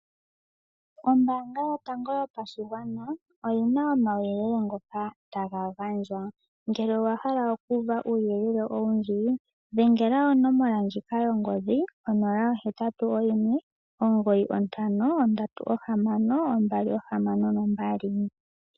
Ombanga yotango yopashigwana oyi na omauyelele ngoka taga gandjwa ngele owa hala oku uva uuyelele owundji dhengela onomola ndjika yongodhi 0819536262.